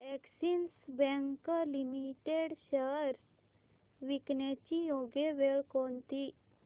Axis bank limited shares विकण्याची योग्य वेळ कोणती